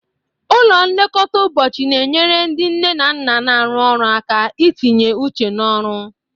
Ụlọ nlekọta ụbọchị na-enyere ndị nne na nna na-arụ ọrụ aka itinye uche n'ọrụ.